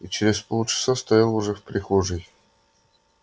и через полчаса стоял уже в прихожей